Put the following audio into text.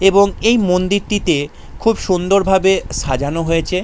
এবং এই মন্দিরটি তে খুব সুন্দর ভাবে সাজানো হয়েছে।